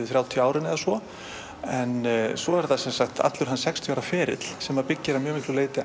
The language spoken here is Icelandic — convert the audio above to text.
þrjátíu árin eða svo en svo er það allur hans sextíu ára ferill sem byggir